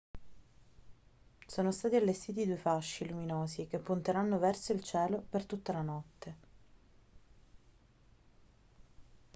sono stati allestiti due fasci luminosi che punteranno verso il cielo per tutta la notte